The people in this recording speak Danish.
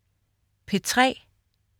P3: